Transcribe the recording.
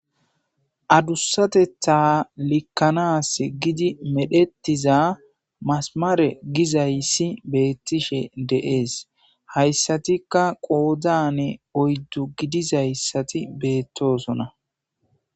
adussatetha likkanas gidi medhettiza masamare gizayssi beettishe de7ees hayssatikka qoodane oyddu gidizayssati beettoosona